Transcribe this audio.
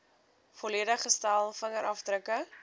volledige stel vingerafdrukke